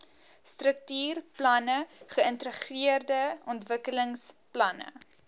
struktuurplanne geïntegreerde ontwikkelingsplanne